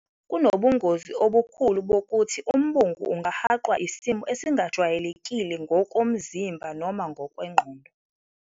Kunobungozi obukhulu bokuthi umbungu ungahaqwa isimo esingajwayelekile ngokomzimba noma ngokwengqondo.